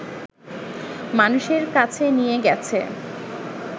মানুষের কাছে নিয়ে গেছে